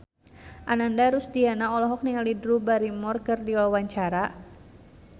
Ananda Rusdiana olohok ningali Drew Barrymore keur diwawancara